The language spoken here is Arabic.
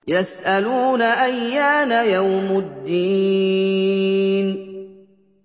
يَسْأَلُونَ أَيَّانَ يَوْمُ الدِّينِ